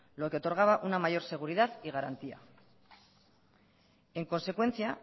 lo que otorgaba una mayor seguridad y garantía en consecuencia